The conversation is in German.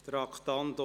Geschäft